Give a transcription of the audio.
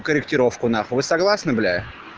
корректировку нахуй вы согласны бля